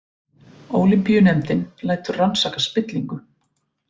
Ólympíunefndin lætur rannsaka spillingu